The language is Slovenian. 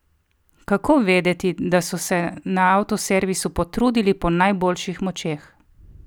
Kako vedeti, da so se na avtoservisu potrudili po najboljših močeh?